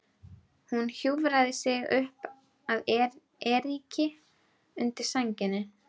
Hún hjúfraði sig upp að Eiríki undir sænginni.